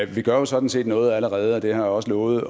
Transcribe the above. vi gør jo sådan set noget allerede og jeg har også lovet at